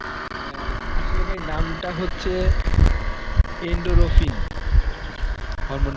অ্যাঁ আসলে ভাই নামটা হচ্ছে endorphin, hormon